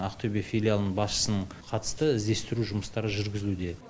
ақтөбе филиалының басшысының қатысты іздестіру жұмыстары жүргізілуде